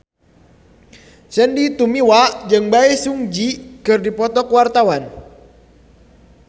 Sandy Tumiwa jeung Bae Su Ji keur dipoto ku wartawan